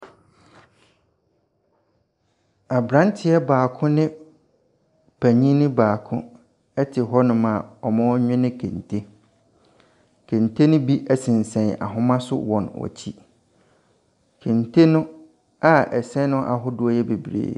Abranteɛ baako ne panyini baako ɛte hɔnom a wɔrewene kente. Kente no bi sensɛn ahoma so wɔ wɔn akyi. Kente no a ɛsɛn no ahodoɔ yɛ bebree.